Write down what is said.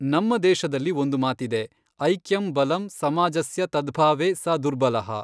ನಮ್ಮ ದೇಶದಲ್ಲಿ ಒಂದು ಮಾತಿದೆ ಐಕ್ಯಂ ಬಲಂ ಸಮಾಜಸ್ಯ ತದ್ಭಾವೇ ಸ ದುರ್ಬಲಃ।